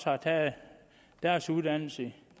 har taget deres uddannelse